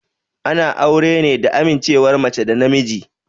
Ana aure ne da amincewar mace da namiji.